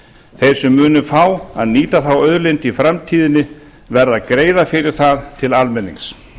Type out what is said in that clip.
þeir sem munu fá að nýta þá auðlind í framtíðinni verða að greiða fyrir það til almennings